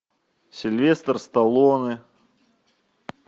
сильвестр сталлоне